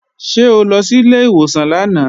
Ṣé o lọ sí ilé ìwòsàn lánàá?